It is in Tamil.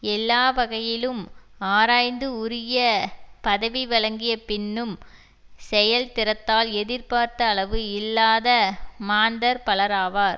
எல்லா வகையிலும் ஆராய்ந்து உரிய பதவி வழங்கிய பின்னும் செயல் திறத்தால் எதிர்பார்த்த அளவு இல்லாத மாந்தர் பலராவர்